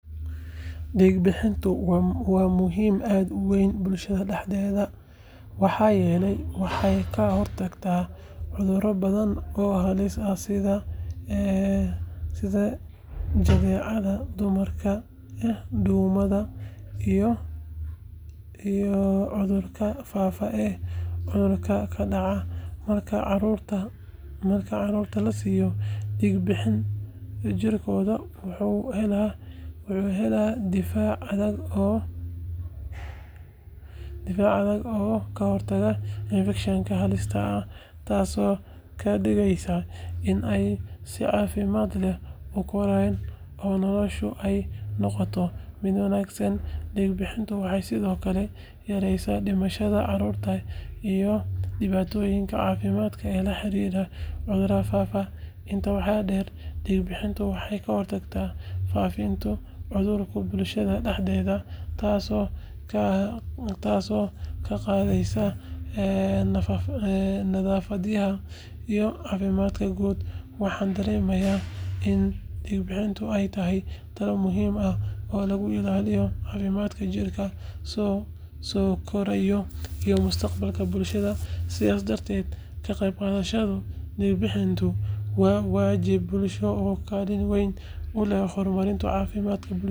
Diig bixintu waa muhiim aad u weyn bulshada dhexdeeda maxaa yeelay waxay ka hortagtaa cuduro badan oo halis ah sida jadeecada, duumada, iyo cudurada faafa ee caruurta ku dhaca. Marka carruurta la siiyo diig bixiin, jirkoodu wuxuu helaa difaac adag oo ka hortaga infekshannada halista ah, taasoo ka dhigaysa in ay si caafimaad leh u koraan oo noloshooda ay noqoto mid wanaagsan. Diig bixintu waxay sidoo kale yareysaa dhimashada carruurta iyo dhibaatooyinka caafimaad ee la xiriira cudurada faafa. Intaa waxaa dheer, diig bixintu waxay ka hortagtaa faafitaanka cudurada bulshada dhexdeeda, taasoo kor u qaadaysa nadaafadda iyo caafimaadka guud. Waxaan dareemaa in diig bixintu ay tahay tallaabo muhiim ah oo lagu ilaaliyo caafimaadka jiilka soo koraya iyo mustaqbalka bulshada. Sidaas darteed, ka qaybqaadashada diig bixinta waa waajib bulsho oo kaalin weyn ku leh horumarinta caafimaadka bulshada.